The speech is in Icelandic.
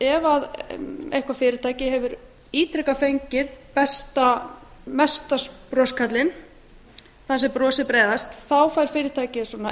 ef eitthvert fyrirtæki hefur ítrekað fengið besta mesta broskarlinn þann sem brosir breiðast fær fyrirtækið elite